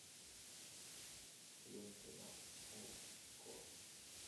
лента на окко